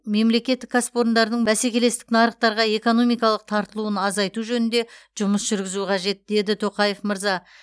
мемлекеттік кәсіпорындардың бәсекелестік нарықтарға экономикалық тартылуын азайту жөнінде жұмыс жүргізу қажет деді тоқаев мырза